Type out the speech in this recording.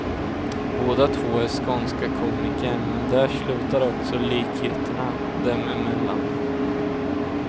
Båda två är skånska komiker, men där slutar också likheterna dem emellan.